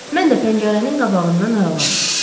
Mən də pəncərənin qabağından aralandım.